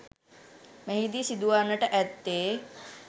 මෙහිදී සිදුවන්නට ඇත්තේ